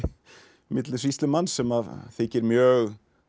milli sýslumanns sem að þykir mjög